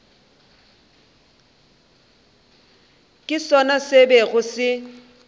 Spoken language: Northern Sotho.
ke sona se bego se